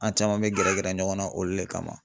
An caman bɛ gɛrɛ gɛrɛ ɲɔgɔn na olu le kama.